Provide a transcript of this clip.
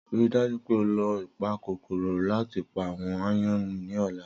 Rii daju pe o lo ipakokoro lati pa awọn aayan ni ọla!